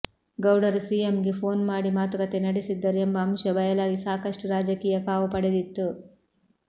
ಗೌಡರು ಸಿಎಂಗೆ ಫೋನ್ ಮಾಡಿ ಮಾತುಕತೆ ನಡೆಸಿದ್ದರು ಎಂಬ ಅಂಶ ಬಯಲಾಗಿ ಸಾಕಷ್ಟು ರಾಜಕೀಯ ಕಾವು ಪಡೆದಿತ್ತು